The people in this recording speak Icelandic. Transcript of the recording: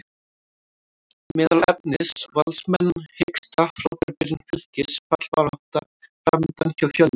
Meðal efnis: Valsmenn hiksta, Frábær byrjun Fylkis, fallbarátta framundan hjá Fjölni?